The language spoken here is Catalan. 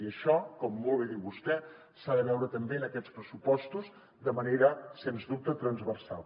i això com molt bé diu vostè s’ha de veure també en aquests pressupostos de manera sens dubte transversal